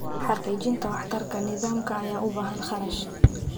Xaqiijinta waxtarka nidaamka ayaa u baahan kharash.